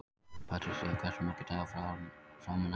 Patrisía, hversu margir dagar fram að næsta fríi?